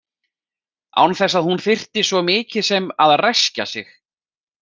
Án þess að hún þyrfti svo mikið sem að ræskja sig.